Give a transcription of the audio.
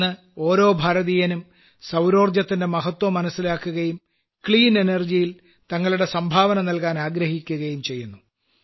ഇന്ന് ഓരോ ഭാരതീയനും സൌരോർജ്ജത്തിന്റെ മഹത്വം മനസ്സിലാക്കുകയും ശുദ്ധ ഊർജ്ജത്തിൽ തങ്ങളുടെ സംഭാവന നൽകാൻ ആഗ്രഹിക്കുകയും ചെയ്യുന്നു